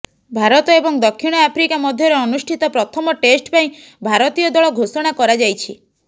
ଭାରତ ଏବଂ ଦକ୍ଷିଣ ଆଫ୍ରିକା ମଧ୍ୟରେ ଅନୁଷ୍ଠିତ ପ୍ରଥମ ଟେଷ୍ଟ ପାଇଁ ଭାରତୀୟ ଦଳ ଘୋଷଣା କରାଯାଇଛି